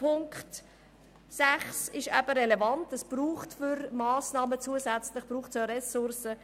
Punkt 6 ist relevant, denn für zusätzliche Massnahmen braucht es auch Ressourcen.